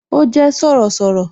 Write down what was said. Ó jé Sọ̀rọ̀sọ̀rọ̀